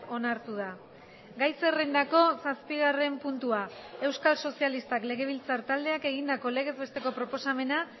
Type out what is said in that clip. onartu da gai zerrendako zazpigarren puntua euskal sozialistak legebiltzar taldeak egindako legez besteko proposamena